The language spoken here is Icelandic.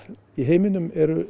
í heiminum eru